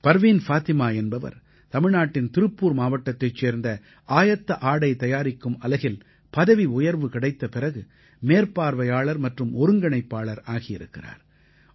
பர்வீன் ஃபாத்திமா என்பவர் தமிழ்நாட்டின் திருப்பூர் மாவட்டத்தைச் சேர்ந்த ஆயத்த ஆடை தயாரிக்கும் அலகில் பதவி உயர்வு கிடைத்த பிறகு மேற்பார்வையாளர் மற்றும் ஒருங்கிணைப்பாளர் ஆகியிருக்கிறார்